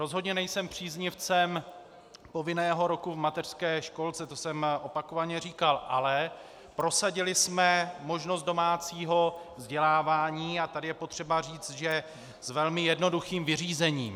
Rozhodně nejsem příznivcem povinného roku v mateřské školce, to jsem opakovaně říkal, ale prosadili jsme možnost domácího vzdělávání, a tady je potřeba říct, že s velmi jednoduchým vyřízením.